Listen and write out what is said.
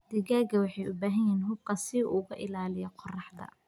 Digaagga waxay u baahan yihiin xuubka si uu uga ilaaliyo qorraxda.